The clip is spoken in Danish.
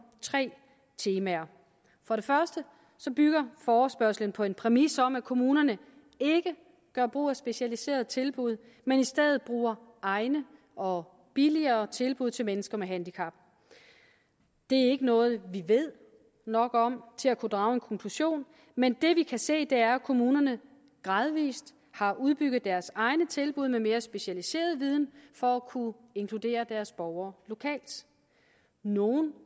tre temaer for det første bygger forespørgslen på en præmis om at kommunerne ikke gør brug af specialiserede tilbud men i stedet bruger egne og billigere tilbud til mennesker med handicap det er ikke noget vi ved nok om til at kunne drage en konklusion men det vi kan se er at kommunerne gradvis har udbygget deres egne tilbud med mere specialiseret viden for at kunne inkludere deres borgere lokalt nogle